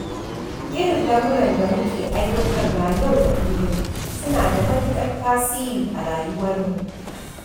Irin lamuran da muke aiwatarwa yau da kullum suna da matuƙar tasiri a rayuwarmu.